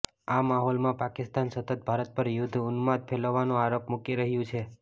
આ માહોલમાં પાકિસ્તાન સતત ભારત પર યુદ્ધ ઉન્માદ ફેલવાનો આરોપ મૂકી રહ્યું છે